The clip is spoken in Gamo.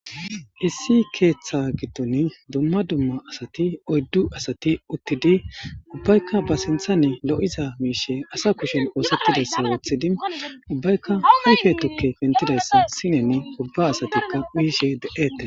Issi ketha giddoni duma duma assati oyidu assati ubbayikka ba sinithani loyiza mishe assa kusheni osetidayissa wothidi ubbayikka ayife tukeyi pentidayissa sineni oyikiddi ubba assatikka uyishe de'etesi.